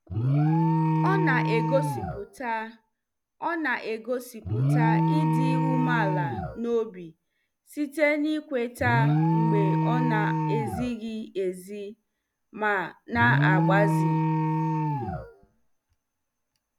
Ọ na-egosipụta Ọ na-egosipụta ịdị umeala n'obi site n'ịkweta mgbe ọ na-ezighị ezi ma na-agbazi.